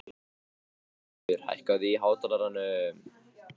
Arnaldur, hækkaðu í hátalaranum.